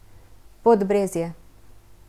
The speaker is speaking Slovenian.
Podbrezje.